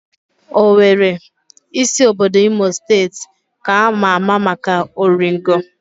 Owere, isi obodo Imo steeti, ka ama ama maka oringo